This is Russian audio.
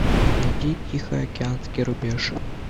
найди тихоокеанский рубеж